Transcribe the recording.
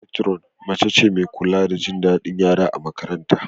Matron mace ce mai kula da jin daɗin yara a makarantar.